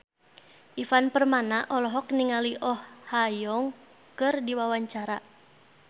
Ivan Permana olohok ningali Oh Ha Young keur diwawancara